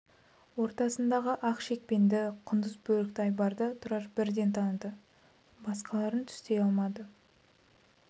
ортасындағы ақ шекпенді құндыз бөрікті айбарды тұрар бірден таныды басқаларын түстей алмады